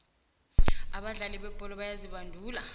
abadlali bebholo bayazibandula